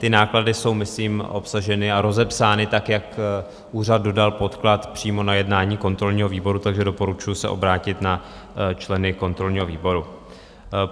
Ty náklady jsou myslím obsaženy a rozepsány tak, jak úřad dodal podklad přímo na jednání kontrolního výboru, takže doporučuju se obrátit na členy kontrolního výboru.